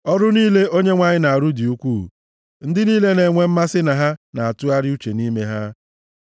Ọrụ niile Onyenwe anyị na-arụ dị ukwuu; ndị niile na-enwe mmasị na ha na-atụgharị uche nʼime ha.